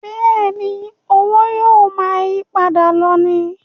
Bẹ́ẹ̀ni, owó yóò máa yípadà lọ ni